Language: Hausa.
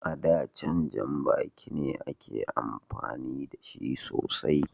A da, jan janbaki ne ake amfani da shi sosai.